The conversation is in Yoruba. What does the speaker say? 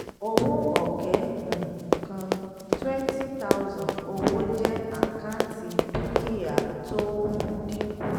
owó ọ̀kẹ́ um kan twenty thousand owó jẹ́ àkáǹtì dúkìátó ń dínkù.